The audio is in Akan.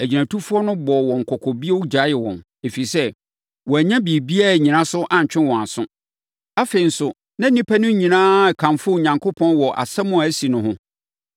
Agyinatufoɔ no bɔɔ wɔn kɔkɔ bio gyaee wɔn, ɛfiri sɛ, wɔannya biribiara annyina so antwe wɔn aso; afei nso, na nnipa no nyinaa rekamfo Onyankopɔn wɔ asɛm a asi no ho.